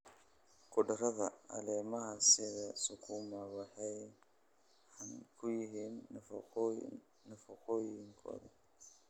Khudradda caleemaha sida sukuuma waxay caan ku yihiin nafaqooyinkooda.